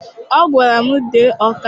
Ọ gwara m, dee Ọka!